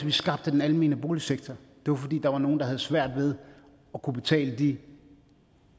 vi skabte den almene boligsektor det var fordi der var nogle der havde svært ved at kunne betale de